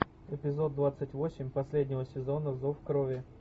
эпизод двадцать восемь последнего сезона зов крови